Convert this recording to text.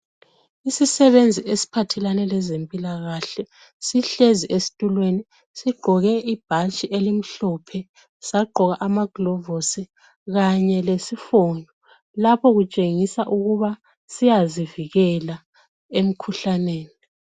Isisebenzi esiphathelane lezempilakahle sihlezi esitulweni, sigqoke ibhatshi elimhlophe, sagqoka amagilovisi kanye lesifonyo. Lapho kutshengisa ukuba siyazivikela emikhuhlaneni.